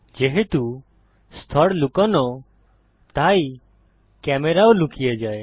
যেহেতু স্তর লুকোনো তাই ক্যামেরা ও লুকিয়ে যায়